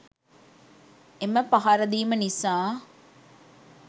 එම පහර දීම නිසා